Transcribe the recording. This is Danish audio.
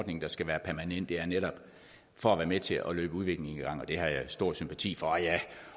ordning der skal være permanent det er netop for at være med til at løbe udviklingen i gang og det har jeg stor sympati for og jeg